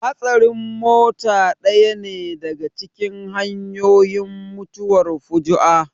Hatsarin mota ɗaya ne daka cikin hanyoyin mutuwar fuju'a